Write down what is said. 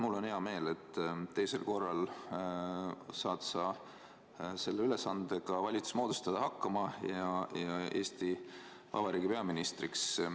Mul on hea meel, et teisel korral saad sa selle ülesandega valitsus moodustada hakkama ja Eesti Vabariigi peaministriks.